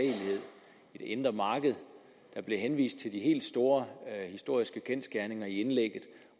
indre marked der blev henvist til de helt store historiske kendsgerninger i indlægget